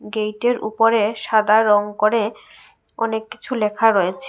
গেইটের ইপরে সাদা রং করে অনেককিছু লেখা রয়েছে।